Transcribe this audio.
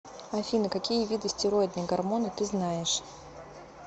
афина какие виды стероидные гормоны ты знаешь